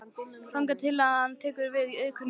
Þangað til að hann tekur til við iðkun jóga.